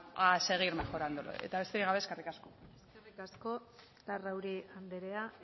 a seguir mejorándolo eta besterik gabe eskerrik asko eskerrik asko larrauri andrea